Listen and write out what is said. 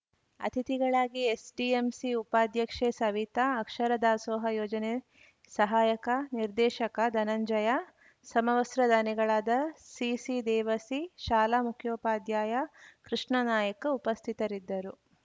ಅತಿಥಿಗಳಾಗಿ ಎಸ್‌ಡಿಎಂಸಿ ಉಪಾಧ್ಯಕ್ಷೆ ಸವಿತ ಅಕ್ಷರ ದಾಸೋಹ ಯೋಜನೆ ಸಹಾಯಕ ನಿರ್ದೇಶಕ ಧನಂಜಯ ಸಮವಸ್ತ್ರ ದಾನಿಗಳಾದ ಸಿಸಿ ದೇವಸಿ ಶಾಲಾ ಮುಖ್ಯೋಪಾಧ್ಯಾಯ ಕೃಷ್ಣನಾಯಕ್‌ ಉಪಸ್ಥಿತರಿದ್ದರು